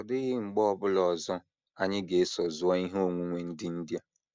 Ọ dịghị mgbe ọ bụla ọzọ anyị ga - eso zuo ihe onwunwe ndị India